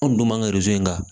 Anw dun b'an ka in kan